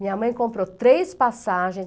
Minha mãe comprou três passagens.